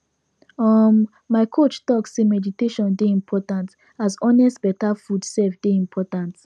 um my coach talk say meditation dey important as honest better food sef dey important